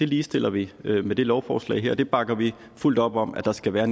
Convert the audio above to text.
ligestiller vi vi med det lovforslag her og vi bakker vi fuldt op om at der skal være